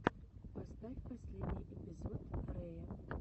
поставь последний эпизод рэя